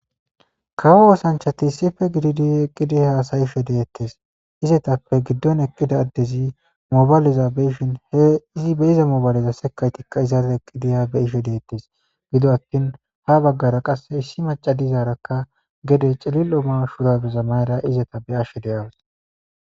kawo ossanchati issipppe giddidi eqqidi hasa'she dettes izetappe giddon eqqida adezi mobayillza be'ishin he izi be'iza mobayilleza sekayittika izara eqqidi ha be'ishe dettes giddo attin ha bagara qase issi macca dizaraka gede cillilo Mayo shurabeza mayadda izeta be'ashe dawusi.